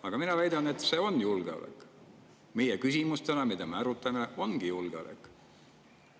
Aga mina väidan, et see on julgeolek: meie küsimus, mida me täna arutame, ongi julgeolek.